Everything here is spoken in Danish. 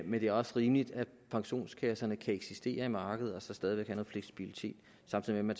men det er også rimeligt at pensionskasserne kan eksistere i markedet og stadig have noget fleksibilitet samtidig med